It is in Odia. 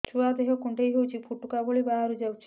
ଛୁଆ ଦେହ କୁଣ୍ଡେଇ ହଉଛି ଏବଂ ଫୁଟୁକା ଭଳି ବାହାରିଯାଉଛି